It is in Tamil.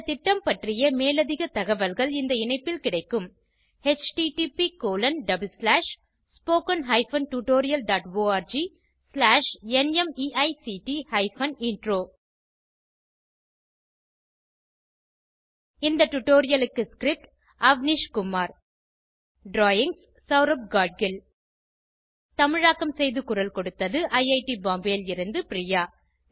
இந்த திட்டம் பற்றிய மேலதிக தகவல்கள் இந்த இணைப்பில் கிடைக்கும் httpspoken tutorialorgNMEICT Intro இந்த டுடோரியலுக்கு ஸ்க்ரிப் அவ்னிஷ் குமார் ட்ராயிங்ஸ் செளரப் காட்கில் தமிழாக்கம் செய்து குரல் கொடுத்தது ஐஐடி பாம்பேவில் இருந்து பிரியா